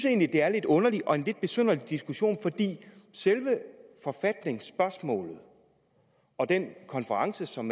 egentlig er lidt underligt og er lidt besynderlig diskussion fordi selve forfatningsspørgsmålet og den konference som